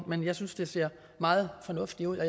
men jeg synes det ser meget fornuftigt ud